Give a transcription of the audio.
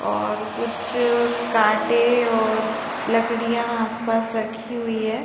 और कुछ कांटे और लकड़ियाँ आस पास रखी हुई है |